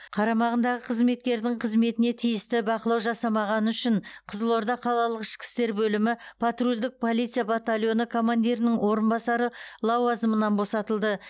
қарамағындағы қызметкердің қызметіне тиісті бақылау жасамағаны үшін қызылорда қалалық ішкі істер бөлімі патрульдік полиция батальоны командирінің орынбасары лауазымынан босатылды